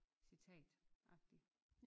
Citatagtig